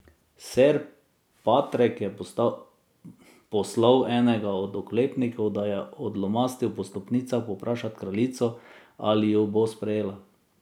Ser Patrek je poslal enega od oklepnikov, da je odlomastil po stopnicah povprašat kraljico, ali ju bo sprejela.